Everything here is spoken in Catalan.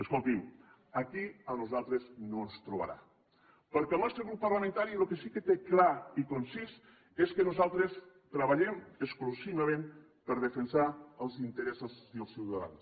escolti’m aquí a nosaltres no ens trobarà perquè el nostre grup parlamentari el que sí que té clar i concís és que nosaltres treballem exclusivament per defensar els interessos dels ciutadans